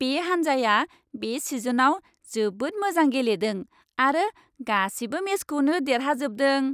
बे हान्जाया बे सिजनआव जोबोद मोजां गेलेदों आरो गासिबो मेचखौनो देरहाजोबदों।